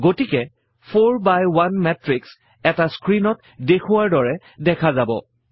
গতিকে 4 বাই 1 মাতৃশ এটা স্ক্ৰীণত দেখুওৱাৰ দৰে দেখা যাব